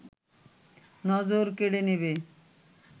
নজর কেড়ে নেবে